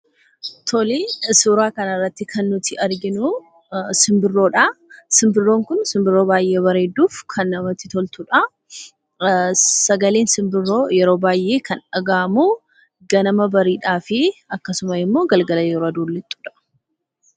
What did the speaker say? Tole, suuraa kanarratti kan nuti arginuu simbirroodha. Simbirroon kun simbirroo baay'ee bareedduuf kan namatti toltudha. Sagaleen simbirroo yeroo baay'ee kan dhaga'amu ganama bariidhaa fi akkasumas immoo galgala yeroo aduun lixxudha.